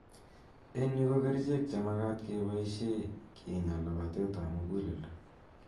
En yu ko kercheek chemagat keboishe kinya labateet ap muguleldo.